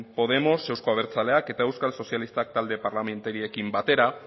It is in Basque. podemos euzko abertzaleak eta euskal sozialistak talde parlamentarioekin batera